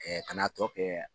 ka n'a tɔ kɛ